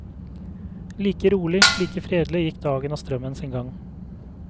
Like rolig, like fredelig gikk dagen og strømmen sin gang.